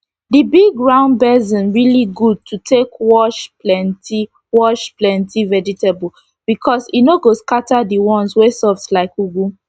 d big round basin really good to take wash plenty wash plenty vegetable becos e no go scata d ones wey soft like ugu